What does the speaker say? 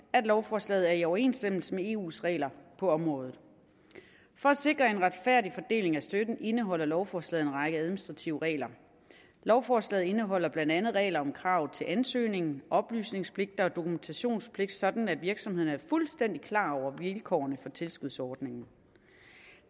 at lovforslaget er i overensstemmelse med eus regler på området for at sikre en retfærdig fordeling af støtten indeholder lovforslaget en række administrative regler lovforslaget indeholder blandt andet regler om krav til ansøgningen oplysningspligt og dokumentationspligt sådan at virksomhederne er fuldstændig klar over vilkårene for tilskudsordningen